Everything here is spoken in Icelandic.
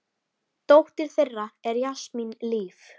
Dóttir þeirra er Jasmín Líf.